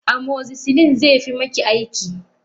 Amoxicillin zefi maki aiki.